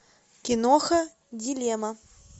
киноха дилемма